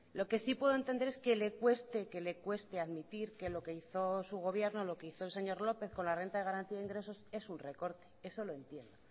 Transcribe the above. lo que sí puedo entender es que le cueste que le cueste admitir que lo que hizo su gobierno lo que hizo el señor lópez con la renta de garantía de ingresos es un recorte eso lo entiendo